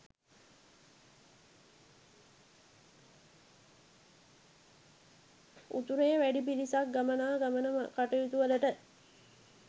උතුරේ වැඩි පිරිසක් ගමනාගමන කටයුතුවලට